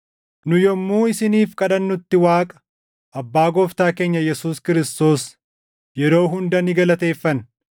Nu yommuu isiniif kadhannutti Waaqa, Abbaa Gooftaa keenya Yesuus Kiristoos yeroo hunda ni galateeffanna;